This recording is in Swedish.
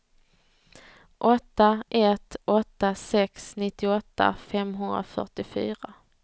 åtta ett åtta sex nittioåtta femhundrafyrtiofyra